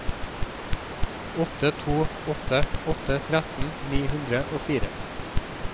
åtte to åtte åtte tretten ni hundre og fire